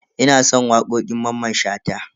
Ina son wakokin Mamman Shata.